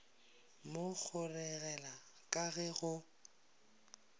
mo kgeregela ka ge go